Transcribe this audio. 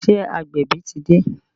Ṣé agbẹ̀bí ti dé?